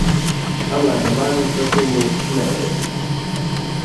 A mlada mamica temu ne verjame.